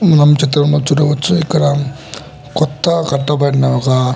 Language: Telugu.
మనం చిత్రం లో చూడవొచ్చు ఇక్కడ కొత్త కట్టబడిన ఒక --